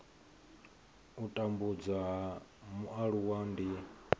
u tambudzwa ha mualuwa ndi